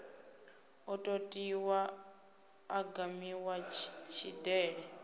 o totiwaho a gamiwa tshidele